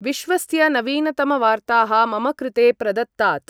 विश्वस्य नवीनतमवार्ताः मम कृते प्रदत्तात्।